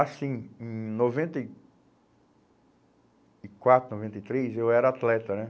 Assim, hum, em noventa e e quatro, noventa e três, eu era atleta, né?